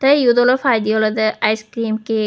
te eyot olode paidi ice cream cake.